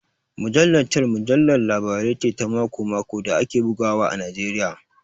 Mujallar Tell Mujallar Labarai ce ta mako-mako da ake bugawa a Najeriya